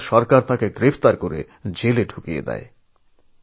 সেদিনের সরকার তাঁকে গ্রেফতার করে কারাগারে নিক্ষেপ করে